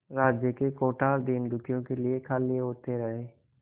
राज्य के कोठार दीनदुखियों के लिए खाली होते रहे